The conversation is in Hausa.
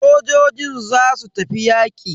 Sojojin zasu tafi yaƙi.